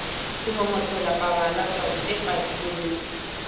semomotela pabala twadi e padileng